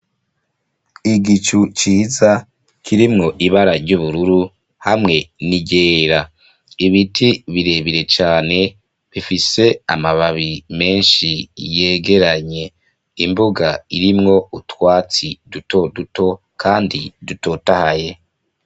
Igicu ciza kirimwo ibara ry'ubururu hamwe n'iryera. Ibiti birebire cane bifise amababi menshi yegeranye. Imbuga irimwo utwatsi duto duto kandi dutotahaye.